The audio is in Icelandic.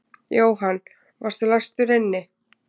Jóhann: Varstu læstur inni?